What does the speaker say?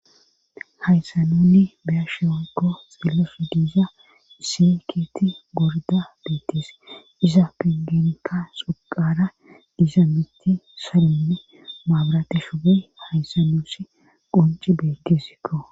hayssa nunni beya shewakko xeelleso diiza isekiti gorda beetes iza pengeneka suqara diiza mitti salinne maabrateshobe hayssanuussi qunci beekesikko